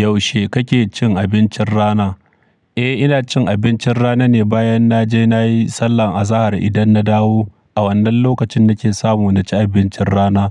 Yaushe kake cin abincin rana? Eh, ina cin abincin rana ne bayan na je na yi sallan azahar idan na dawo. A wannan lokacin nake samu na ci abincin rana.